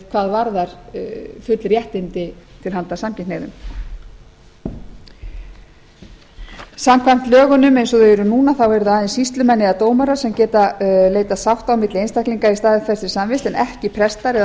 hvað varðar full réttindi til handa samkynhneigðum samkvæmt lögunum eins og þau eru núna eru það aðeins sýslumenn eða dómarar sem geta leitað sátta á milli einstaklinga í staðfestri samvist en ekki prestar eða